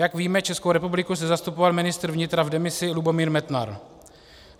Jak víme, Českou republiku zde zastupoval ministr vnitra v demisi Lubomír Metnar.